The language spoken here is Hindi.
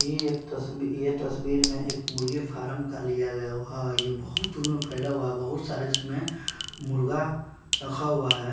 ये एक तस्बी तस्बीर में एक मुर्गी फारम का लिया गया है ये बहुत फैला हुआ है बहुत सारे इसमें मुर्गा रखा हुआ है।